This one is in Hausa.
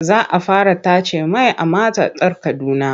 Za a fara tace mai a matatar Kaduna.